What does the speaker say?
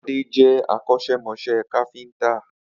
Ade jẹ́ akọ́ṣẹ́mọṣẹ́ káfíńtà